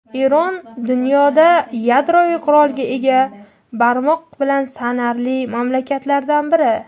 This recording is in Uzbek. Eron dunyoda yadroviy qurolga ega barmoq bilan sanarli mamlakatlardan biri.